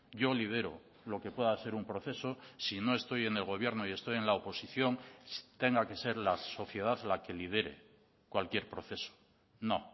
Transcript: yo lidero lo que pueda ser un proceso si no estoy en el gobierno y estoy en la oposición tenga que ser la sociedad la que lidere cualquier proceso no